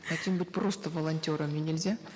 хотим быть просто волонтерами нельзя